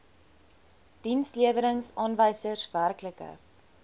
dienslewerings aanwysers werklike